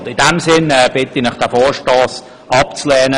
In diesem Sinn bitte ich Sie, den Vorstoss abzulehnen.